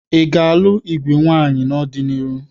Ị ga-alụ igwe nwaamyị n'ọdịniihu?